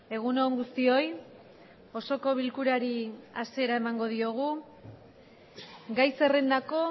egun on guztioi osoko bilkurari hasiera emango diogu gai zerrendako